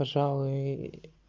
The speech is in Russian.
пожалуй